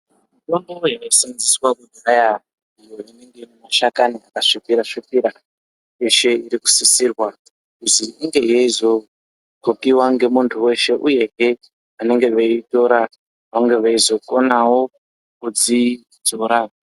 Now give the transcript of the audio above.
mitombo yaisenzeswa kudhaya iyo inenge ine mashakani akasvipira svipira yeshe irikusisirwa kuzi ingeyeizodhlokiwa nemuntu weshe uyehe vanenge veitora vange veizokonawo kudzidzora.